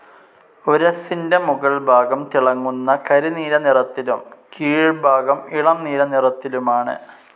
ഉരസ്സിന്റെ മുകൾ ഭാഗം തിളങ്ങുന്ന കരിനീല നിറത്തിലും കീഴ്ഭാഗം ഇളം നീല നിറത്തിലുമാണ്.